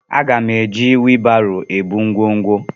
Aga m eji wibaro ebu ngwongwo.